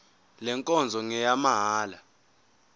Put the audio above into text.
le nkonzo ngeyamahala